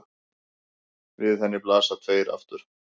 Við henni blasa tveir aftur